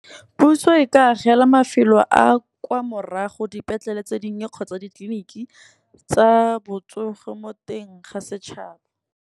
Puso e ka agela mafelo a kwa morago dipetlele tse di nnye kgotsa ditleliniki tsa botsogo mo teng ga setšhaba.